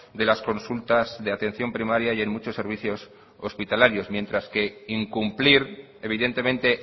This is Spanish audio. de las consultas de atención primaria y en muchos servicios hospitalarios mientras que incumplir evidentemente